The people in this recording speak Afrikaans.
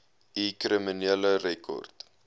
u kriminele rekord